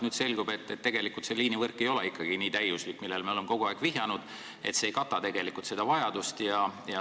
Nüüd selgub, et tegelikult see liinivõrk ei ole ikkagi nii täiuslik, millele me oleme kogu aeg ka vihjanud, see ei kata tegelikku vajadust.